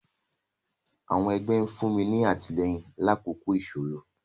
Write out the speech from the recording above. àwọn ẹgbẹ nfunni ni atilẹyin lakoko isoro.